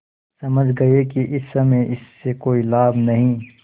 समझ गये कि इस समय इससे कोई लाभ नहीं